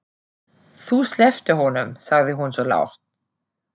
Þú slepptir honum, sagði hún svo lágt.